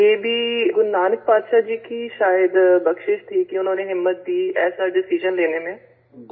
سر یہ بھی گرو نانک بادشاہ جی شاید بخشش تھی کہ انہوں نے ہمت دی ایسا فیصلہ لینے میں